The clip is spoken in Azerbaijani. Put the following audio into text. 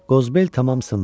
Qozbel tamam sındı.